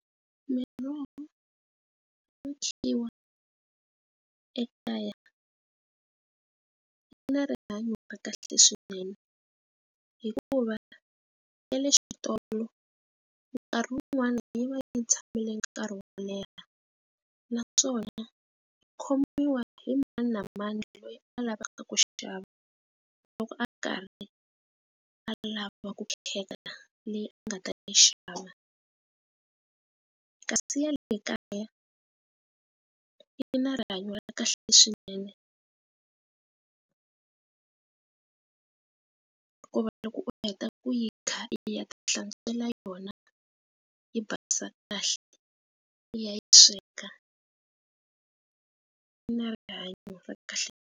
Miroho yo khiwa ekaya yi na rihanyo ra kahle swinene hikuva ya le xitolo nkarhi wun'wani yi va yi tshamile nkarhi wo leha naswona i khomiwa hi mani na mani loyi a lavaka ku xava loko a karhi a lava ku khensa leyi a nga ta yi xava kasi ya le kaya yi na rihanyo ra kahle swinene ku va loko u heta ku yi kha yi ta hlantswela yona yi basisa kahle liya yi sweka yi na rihanyo ra kahle.